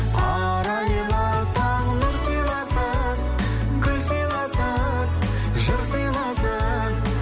арайлы таң нұр сыйласын гүл сыйласын жыр сыйласын